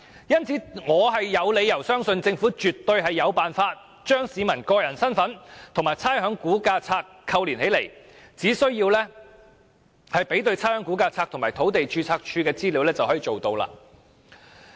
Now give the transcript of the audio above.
因此，我有理由相信政府絕對有辦法把市民身份與差餉估價冊扣連起來，只須比對差餉估價冊和土地註冊處的資料便可。